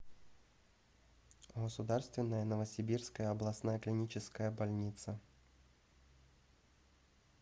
государственная новосибирская областная клиническая больница